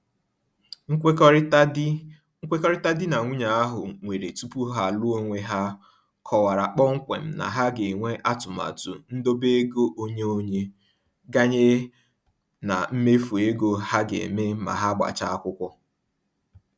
Nkwekọrịta di Nkwekọrịta di na nwunye ahụ nwere tupu ha alụọ onwe ha kọwara kpọmkwem na ha ga-enwe atụmatụ ndobeego onye-onye, ganye na mmefu ego ha ga-eme ma ha gbachaa akwụkwọ.